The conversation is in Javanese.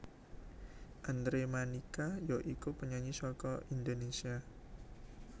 Andre Manika ya iku penyanyi saka Indonésia